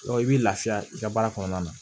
i b'i lafiya i ka baara kɔnɔna na